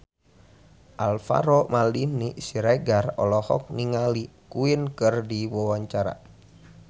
Alvaro Maldini Siregar olohok ningali Queen keur diwawancara